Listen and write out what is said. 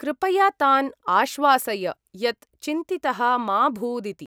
कृपया तान् आश्वासय यत् चिन्तितः मा भूदिति।